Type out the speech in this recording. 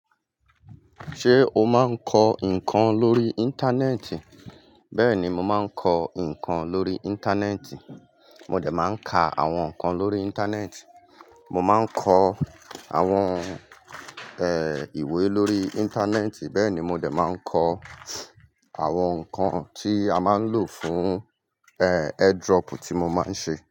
Ṣé o ma ńkọ ǹkan lórí íńtánẹ́tì bẹ́ni, mo máa ńkọ ǹkan lórí íńtánẹ́tì. Mó dẹ̀ máa ń ka àwọn ǹkan lórí íńtánẹ́ẹ̀tì, mo máa ń kọ àwọn, ẹ́, ìwé lórí íńtánẹ́ẹ̀tì. Bẹ́ẹ̀ ni, mó dẹ̀ máa ń kọ àwọn ǹkan tí a máa ń lò fún, ẹ́, airdrop tí mo máa ń ṣe.